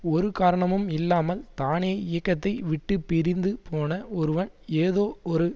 ஒரு காரணமும் இல்லாமல் தானே இயக்கத்தை விட்டு பிரிந்து போன ஒருவன் ஏதோ ஒரு